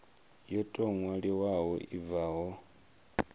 yo tou ṅwaliwaho i bvaho